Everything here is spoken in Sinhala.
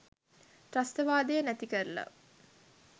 ත්‍රස්තවාදය නැතිකරලා